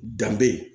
Danbe